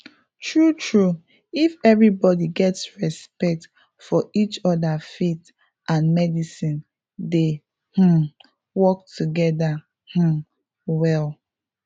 true true if everybody get respect for each other faith and medicine dey um work together um well